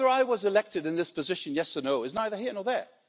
Whether I was elected to this position or not is neither here nor there.